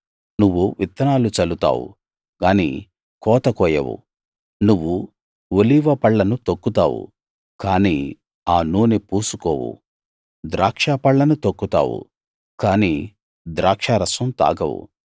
నువ్వు విత్తనాలు చల్లుతావు గానీ కోత కోయవు నువ్వు ఒలీవ పళ్ళను తొక్కుతావు కానీ ఆ నూనె పూసుకోవు ద్రాక్షపళ్ళను తొక్కుతావు కానీ ద్రాక్షారసం తాగవు